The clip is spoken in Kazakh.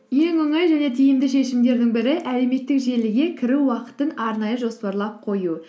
ең оңай және тиімді шешімдердің бірі әлеуметтік желіге кіру уақытын арнайы жоспарлап қою